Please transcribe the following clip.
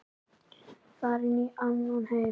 Farin í annan heim.